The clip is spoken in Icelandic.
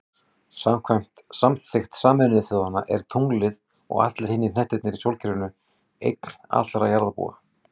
Samkvæmt samþykkt Sameinuðu þjóðanna er tunglið, og allir hinir hnettirnir í sólkerfinu, eign allra jarðarbúa.